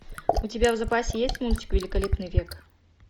у тебя в запасе есть мультик великолепный век